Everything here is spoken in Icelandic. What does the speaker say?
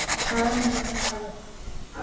Það er nú það sem er svo erfitt.